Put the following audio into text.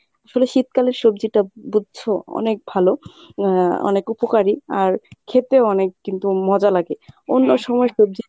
আসলে শীতকালের সবজিটা বুঝছো অনেক ভালো আহ অনেক উপকারী আর খেতেও অনেক কিন্তু মজা লাগে অন্য সময় সবজি